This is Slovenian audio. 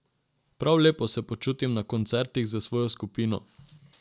Prav lepo se počutim na koncertih z svojo skupino.